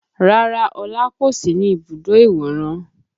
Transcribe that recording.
Rárá Ọlá kò sí ní ibùdó ìwòran